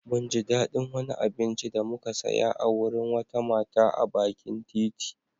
Mun ji daɗin wani abinci da muka saya a wurin wata mata a bakin titi.